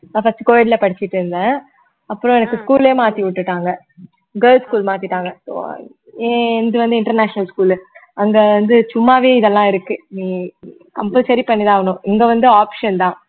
நான் first co ed ல படிச்சிட்டிருந்தேன் அப்புறம் எனக்கு school ஏ மாத்தி விட்டுட்டாங்க girls school மாத்திட்டாங்க ஏ~ என்னிது வந்து international school அங்க வந்து சும்மாவே இதெல்லாம் இருக்கு ஹம் compulsory பண்ணி தான் ஆவணும் இங்க வந்து option தான்